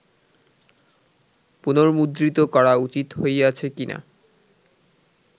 পুনর্মুদ্রিত করা উচিত হইয়াছে কি না